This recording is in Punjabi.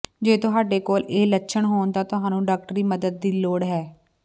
ਜੇ ਤੁਹਾਡੇ ਕੋਲ ਇਹ ਲੱਛਣ ਹੋਣ ਤਾਂ ਤੁਹਾਨੂੰ ਡਾਕਟਰੀ ਮਦਦ ਦੀ ਲੋੜ ਹੈ